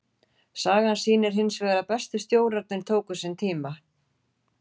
Sagan sýnir hinsvegar að bestu stjórarnir tóku sinn tíma.